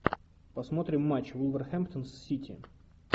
посмотрим матч вулверхэмптон с сити